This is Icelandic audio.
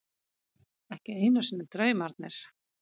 Ekki einu sinni draumarnir.